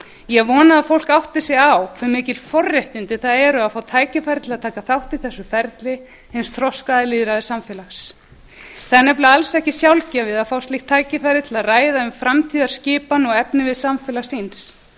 ég vona að fólk átti sig á hve mikil forréttindi það eru að fá tækifæri á að taka þátt í þessu ferli hins þroskaða lýðræðissamfélags það er nefnilega alls ekki sjálfgefið að fá slíkt tækifæri til að ræða um framtíðarskipan og efnivið samfélags síns þeir